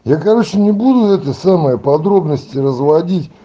я короче не буду это самое подробности разводить